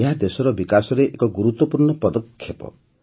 ଏହା ଦେଶର ବିକାଶରେ ଏକ ଗୁରୁତ୍ୱପୂର୍ଣ୍ଣ ପଦକ୍ଷେପ